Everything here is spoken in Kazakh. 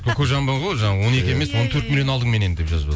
кокожамбо ғой жаңа он екі емес он төрт миллион алдың меннен деп жазып